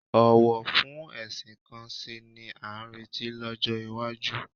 Ọ̀wọ̀ fún ẹ̀sìn kan sí i ni a ń retí lọ́jọ́ iwájú